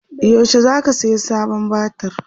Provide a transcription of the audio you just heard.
yaushe zaka saya sabon batir?